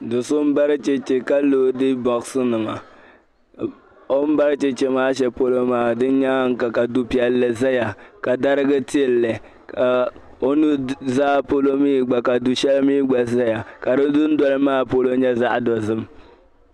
do'so m-bari cheche ka loodi bɔɣisinima o m-bari cheche maa shɛli polo di nyaanga ka du'piɛlli zaya ka dariga tili li ka o nu'zaa polo mii gba ka du'shɛli mii gba zaya ka di dundoli maa polo nyɛ zaɣ'dozim